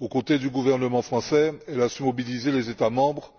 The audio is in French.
Aux côtés du gouvernement français, elle a su mobiliser les États membres